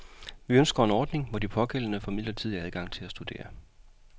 Vi ønsker en ordning, hvor de pågældende får midlertidig adgang til at studere.